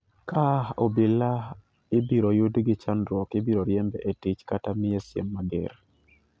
Ka obila ibiro yud gi chandruok ibiro riembe e tich kata miye siem mager.